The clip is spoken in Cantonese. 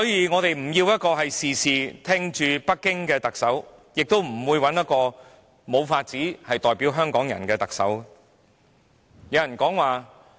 我們不要一個事事聽命於北京的特首，亦不想一個無法代表港人的人成為特首。